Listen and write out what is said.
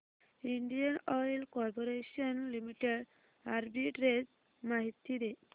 Indian Oil Corporation Limited arbitrage माहिती दे